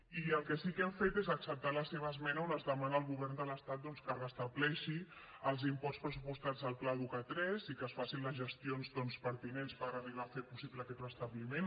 i el que sí que hem fet és acceptar la seva esmena on es demana al govern de l’estat doncs que restableixin els imports pressupostats al pla educa3 i que es facin les gestions pertinents per arribar a fer possible aquest restabliment